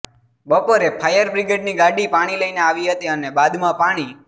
બપોરે ફાયરબ્રિગેડની ગાડી પાણી લઇને આવી હતી અને બાદમાં પાણી